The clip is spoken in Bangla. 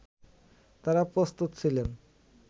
তারা প্রস্তুত ছিলেন